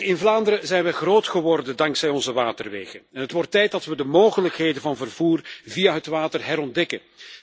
In Vlaanderen zijn we groot geworden dankzij onze waterwegen en het wordt tijd dat we de mogelijkheden van vervoer via het water herontdekken.